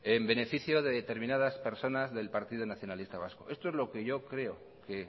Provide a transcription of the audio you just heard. en beneficio de determinadas personas del partido nacionalista vasco esto es lo que yo creo que